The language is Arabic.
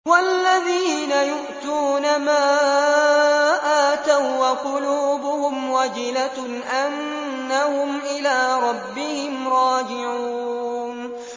وَالَّذِينَ يُؤْتُونَ مَا آتَوا وَّقُلُوبُهُمْ وَجِلَةٌ أَنَّهُمْ إِلَىٰ رَبِّهِمْ رَاجِعُونَ